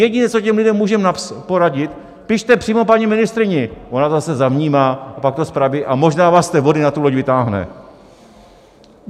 Jediné, co těm lidem můžeme poradit: pište přímo paní ministryni, ona to zase zavnímá, a pak to spraví a možná vás z té vody na tu loď vytáhne.